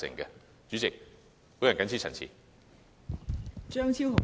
代理主席，我謹此陳辭。